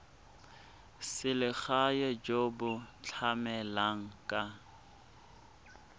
selegae jo bo tlamelang ka